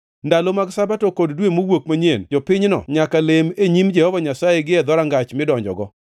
Ndalo mag Sabato kod Dwe Mowuok Manyien, jopinyno nyaka lem e nyim Jehova Nyasaye gie dhorangach midonjogo.